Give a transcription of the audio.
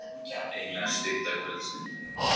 Eina stutta kvöldstund.